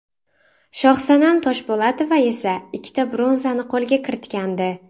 Shohsanam Toshpo‘latova esa ikkita bronzani qo‘lga kiritgandi.